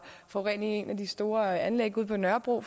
forurening i et af de store anlæg ude på nørrebro og